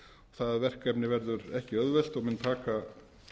það verkefni verður ekki auðvelt og mun taka